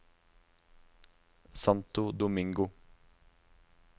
Santo Domingo